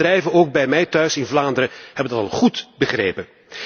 Heel veel bedrijven, ook bij mij thuis in Vlaanderen, hebben dat al goed begrepen.